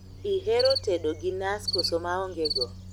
Ihero tedo gi nas koso maonge go?